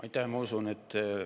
Aitäh!